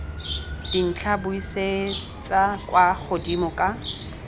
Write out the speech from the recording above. dintlha buisetsa kwa godimo ka